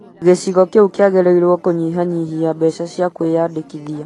gĩcigo kĩu kĩagĩrĩirwo kũnyihanyihia mbeca cia kũĩyandĩkithia